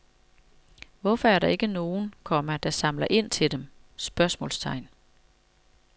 Hvorfor er der ikke nogen, komma som samler ind til dem? spørgsmålstegn